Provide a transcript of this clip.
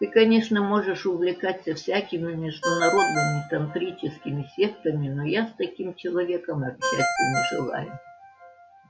ты конечно можешь увлекаться всякими международными тантрическими сектами но я с таким человеком общаться не желаю